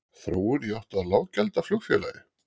Þróun í átt að lággjaldaflugfélagi?